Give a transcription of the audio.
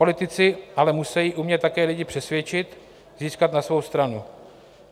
Politici ale musejí umět také lidi přesvědčit, získat na svou stranu.